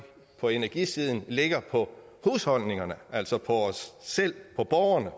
på energisiden ligger på husholdningerne altså på os selv på borgerne